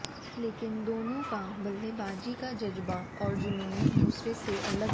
लेकिन दोनों का बल्लेबाजी का जज्बा और जुनून एक दूसरे से अलग है